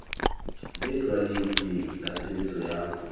le tlwaelehileng la tshebetso ya